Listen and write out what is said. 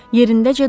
Yerindəcə dur!